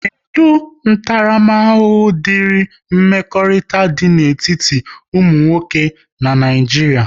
Kedụ ntaramahụhụ diri mmekọrịta dị n'etiti ụmụ nwoke n'Naijiria?